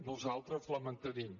nosaltres la mantenim